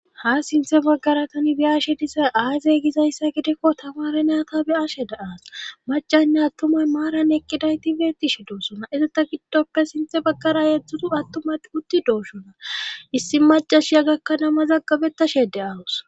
ha sinthe baggara tani bi7ashi disa aazey gizayssa gidekko tamare naata be ashe daas macanne attumay maaran eqqiday ti betish doossona izita giddoppe sinthe baggara yeedzdzutu attumay utti doosona issi macashiya gakkana ama mazagabetashe de'awusi